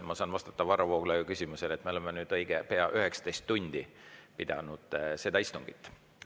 Ma saan vastata Varro Vooglaiu küsimusele, et me oleme nüüd õige pea 19 tundi pidanud seda istungit.